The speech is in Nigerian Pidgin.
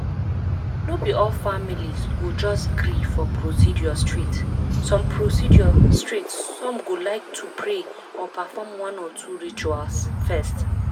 no be all families go just gree for procedure straight some procedure straight some go like to pray or perform one or two rituals first.